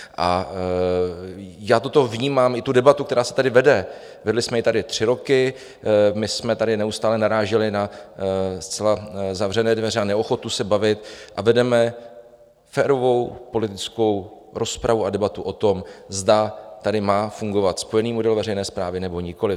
A já toto vnímám, i tu debatu, která se tady vede, vedli jsme ji tady tři roky - my jsme tady neustále naráželi na zcela zavřené dveře a neochotu se bavit, a vedeme férovou politickou rozpravu a debatu o tom, zda tady má fungovat spojený model veřejné správy, nebo nikoliv.